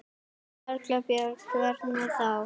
Erla Björg: Hvernig þá?